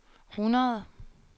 hundrede